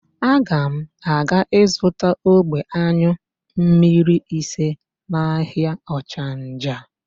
Aga m aga ịzụta ogbe ányụ mmmiri ise n'ahịa ọchanja.